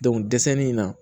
dɛsɛli in na